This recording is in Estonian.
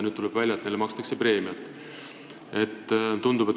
Nüüd tuleb välja, et neile, kes saaki ei koristanud, makstakse justkui preemiat.